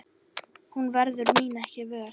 Hún verður mín ekki vör.